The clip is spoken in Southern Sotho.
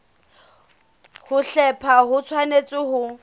ho hlepha ho tshwanetse ho